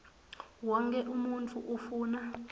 wonkhe umuntfu ufuna